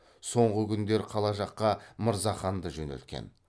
соңғы күндер қала жаққа мырзаханды жөнелткен